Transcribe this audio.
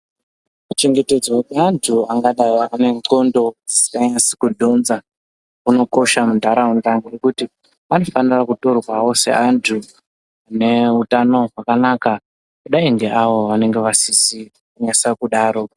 Kuchengetedzwa kwevantu angadayi ane ndxondo dzisinganasi kudhonza kunokosha mundaraunda ngekuti anofanirwa kutorwawo seantu ane utano hwakanaka kudayi ngeavo vanenge vasizi kunasa kudaro.